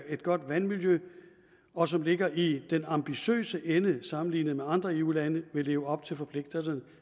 et godt vandmiljø og som ligger i den ambitiøse ende sammenlignet med de andre eu lande vil leve op til forpligtelserne